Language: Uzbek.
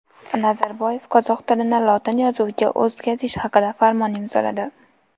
Nazarboyev qozoq tilini lotin yozuviga o‘tkazish haqida farmon imzoladi .